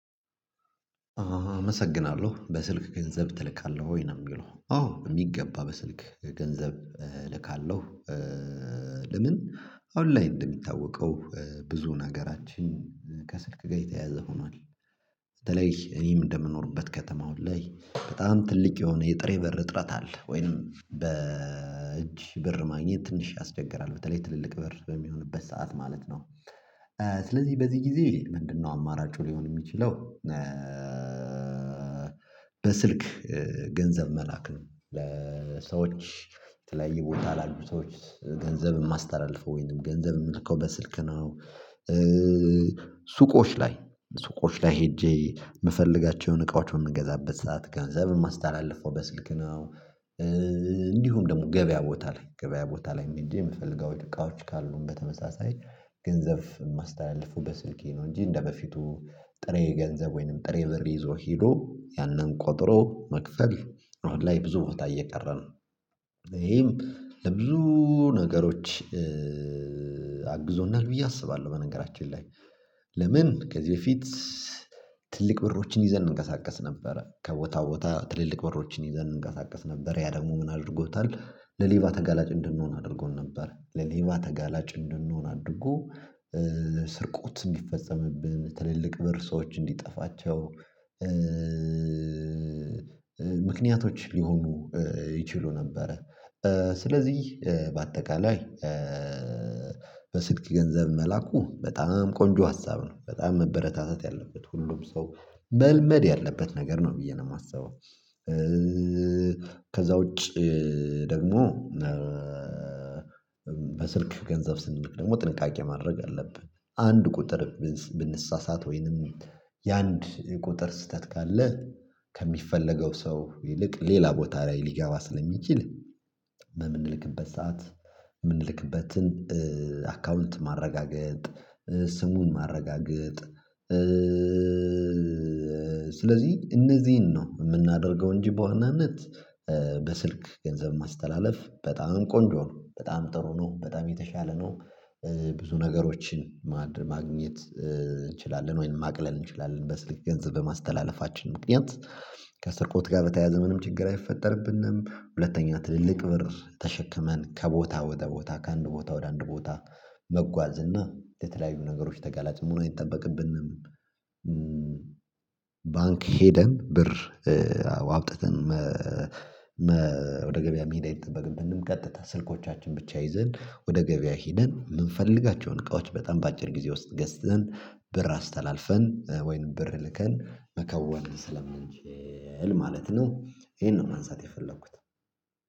አመሰግናለሁ በስልክ ገንዘብ ትልካለህ ወይ ነው የሚለው አዎ የሚገባ በስልክ ገንዘብ ልካለሁ። ለምን? አውንላይን እንደሚታወቀው ብዙ ነገራችን ከስልክ ገይተህ ያዘህ ሆኗል። በተለይ እኔም እንደምኖርበት ከተማው ላይ በጣም ትልቅ የሆነ የጥሬ በር እጥረት አለ ወይም በእጅ በር ማግኘት ትንሽ ያስቸግራል በተለይ ትልልቅ በር በሚሆንበት ሰዓት ማለት ነው። ስለዚህ በዚህ ጊዜ ምንድነው አማራጩ ሊሆን የሚችለው? በስልክ ገንዘብ መላክ ነው ለሰዎች ተለይ ቦታ ላይ ሰዎች ገንዘብ የማስተላልፈው ወይንም ገንዘብ የምትከው በስልክ ነው። ሱቆች ላይ ሱቆች ላይ ሄጄ የምፈልጋቸውን እቃዎች የምገዛበት ሰዓት ገንዘብ የማስተላልፈው በስልክ ነው። እንዲሁም ደግሞ ገበያ ቦታ ላይ ገበያ ቦታ ላይ እንጂ የምፈልገው እቃዎች ካሉን በተመሳሳይ ገንዘብ ማስተላለፉ በስልኬ ነው። እንጂ እንደበፊቱ ጥሬ ገንዘብ ወይንም ጥሬ ብር ይዞ ሄዶ ያንን ቆጥሮ መክፈል አሁን ላይ ብዙ ቦታ እየቀረ ነው። ይሄም ለብዙ ነገሮች አግዞናል ብዬ አስባለሁ። በነገራችን ላይ ለምን ከዚህ በፊት? ትልቅ ብሮችን ይዘን እንንቀሳቀስ ነበረ ከቦታ ቦታ ትልልቅ ብሮችን ይዘን እንቀሳቀስ ነበር ያ ደግሞ ምን አድርጎታል? ለሌባ ተጋላጭ እንድንሆን አድርጎን ነበር። ለሌባ ተጋላጭ እንድንሆን አድርጎ ስርቆት እንዲፈጸምብን ትልልቅ ብር ሰዎች እንዲጠፋቸው። ምክንያቶች ሊሆኑ ይችሉ ነበረ። ስለዚህ በአጠቃላይ በስልክ ገንዘብ መላኩ በጣም ቆንጆ ሀሳብ ነው። በጣም መበረታታት ያለበት ሁሉም ሰው በልመድ ያለበት ነገር ነው ብዬ ነው የማስበው። ከዛ ውጪ ደግሞ በስልክ ገንዘብ ስንል ደግሞ ጥንቃቄ ማድረግ አለብህ። አንድ ቁጥር ብንሳሳት ወይንም የአንድ ቁጥር ስህተት ካለ ከሚፈለገው ሰው ይልቅ ሌላ ቦታ ላይ ሊገባ ስለሚችል። በምንልክበት ሰዓት የምንልክበትን አካውንት ማረጋገጥ ስሙን ማረጋገጥ። ስለዚህ እነዚህን ነው የምናደርገው እንጂ በዋናነት በስልክ ገንዘብ ማስተላለፍ በጣም ቆንጆ ነው በጣም ጥሩ ነው በጣም የተሻለ ነው። ብዙ ነገሮችን ማግኘት እንችላለን ወይንም ማቅለል እንችላለን በስልክ ገንዘብ በማስተላለፋችን ምክንያት ከስርቆት ጋር በተያያዘ ምንም ችግር አይፈጠርብንም። ሁለተኛ ትልልቅ ብር ተሸክመን ከቦታ ወደ ቦታ ከአንድ ቦታ ወደ አንድ ቦታ መጓዝ እና የተለያዩ ነገሮች ተጋላጭ መሆኑን አይጠበቅብንም። ባንክ ሄደን ብር አውጥተን ወደ ገበያ መሄድ አይጠበቅብንም። ቀጥታ ስልኮቻችን ብቻ ይዘን ወደ ገበያ ሄደን የምንፈልጋቸውን እቃዎች በጣም በአጭር ጊዜ ውስጥ ገዝተን ብር አስተላልፈን ወይንም ብር ልከን መከወን ስለምንችል ማለት ነው። ይሄን ነው ማንሳት የፈለኩት።